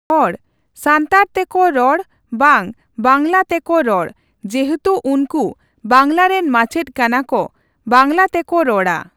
ᱦᱚᱲ, ᱥᱟᱱᱛᱟᱲ ᱛᱮᱠᱚ ᱨᱚᱲ ᱵᱟᱝ ᱵᱟᱝᱞᱟ ᱛᱮᱠᱚ ᱨᱚᱲ᱾ ᱡᱮᱦᱮᱛᱩ ᱩᱱᱠᱩ ᱵᱟᱝᱞᱟ ᱨᱮᱱ ᱢᱟᱪᱮᱫ ᱠᱟᱱᱟ ᱠᱚ ᱵᱝᱞᱟ ᱛᱮᱠᱚ ᱨᱚᱲᱟ᱾